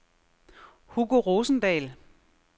Hugo Rosendahl